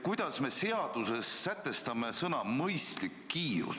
Kuidas me seaduses sätestame selle mõistliku kiiruse?